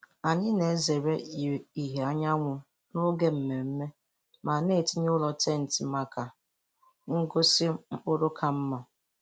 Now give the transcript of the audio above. Anyị na-ezere ìhè anyanwụ n’oge mmemme ma na-etinye ụlọ tenti maka ngosi mkpụrụ ka mma.